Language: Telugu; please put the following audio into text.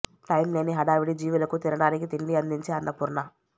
టైం లేని హడావిడి జీవులకు తినటానికి తిండి అందించే అన్నపూర్ణ